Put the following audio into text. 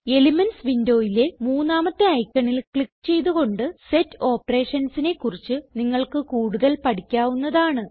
elements വിൻഡോയിലെ മൂന്നാമത്തെ ഐക്കണിൽ ക്ലിക്ക് ചെയ്ത് കൊണ്ട് സെറ്റ് operationsനെ കുറിച്ച് നിങ്ങൾക്ക് കൂടുതൽ പഠിക്കാവുന്നതാണ്